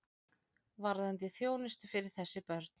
Varðandi þjónustu fyrir þessi börn.